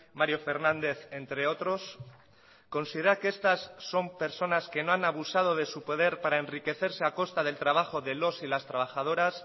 mario fernández entre otros considera que estas son personas que no han abusado de su poder para enriquecerse a costa del trabajo de los y las trabajadoras